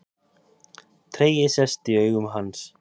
Tregi sest í augu hans.